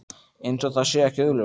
Eins og það sé ekki augljóst.